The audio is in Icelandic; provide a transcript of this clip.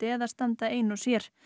eða standa ein og sér